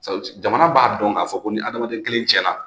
Jamana b'a dɔn k'a fɔ ko ni hadamaden kelen tiɲɛna